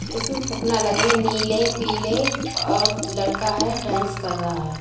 इस में फुकना लगे हैं नीले पीले और लड़का हैडांस कर रहा है।